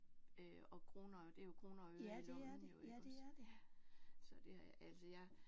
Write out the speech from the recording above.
Øh og kroner det er jo kroner og øre i lommen jo iggås ja. Så det altså jeg